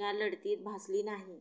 या लढतीत भासली नाही